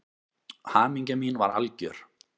Hamingja mín var algjör.